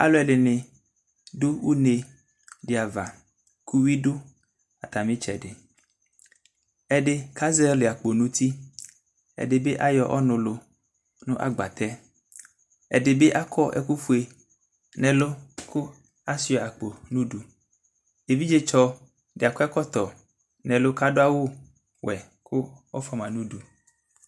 Aalʋɛɖini ɖʋ une' ɖiava kʋ uwui dʋ atami tsɛɖiƐɖi k'azɔli akpo n'uti, eɖibi ayɔ ɔnʋ yɔlʋ nʋ agbatɛƐɖibi akɔ ɛkʋfue n'ɛlʋ kʋ asuia akpo n'ʋɖuEvidzetsɔ akɔ ɛkɔtɔ k'aɖʋ awu wuɛ kʋ ɔfoama n'ʋdu